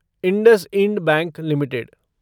IndusInd bank limited